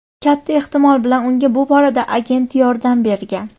Katta ehtimol bilan unga bu borada agenti yordam bergan.